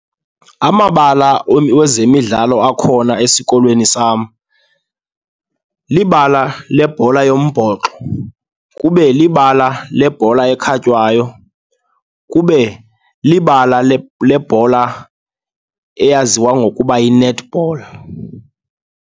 Amabala wezemidlalo akhona esikolweni sam libala lebhola yombhoxo, kube libala lebhola ekhatywayo, kube libala lebhola eyaziwa ngokuba yi-netball.